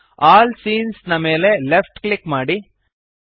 all scenes ನ ಮೇಲೆ left click ಮಾಡಿರಿ